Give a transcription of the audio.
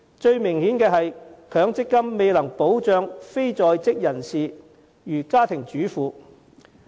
最明顯的是，強積金未能保障如家庭主婦等非在職人士。